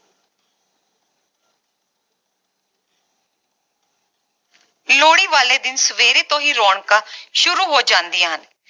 ਲੋਹੜੀ ਵਾਲੇ ਦਿਨ ਸਵੇਰੇ ਤੋਂ ਹੀ ਰੌਣਕਾਂ ਸ਼ੁਰੂ ਹੋ ਜਾਂਦੀਆਂ ਹਨ